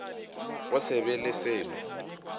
go se be le selo